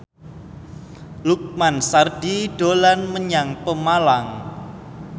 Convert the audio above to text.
Lukman Sardi dolan menyang Pemalang